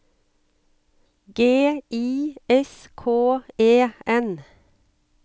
G I S K E N